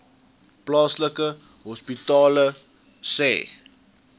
plaaslike hospitale sê